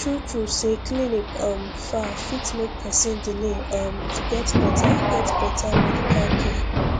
truetrue say clinic um far fit make person delay um to get better get better medical care